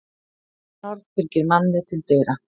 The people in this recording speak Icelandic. Mannorð fylgir manni til dyra.